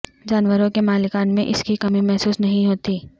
جانوروں کے مالکان میں اس کی کمی محسوس نہیں ہوتی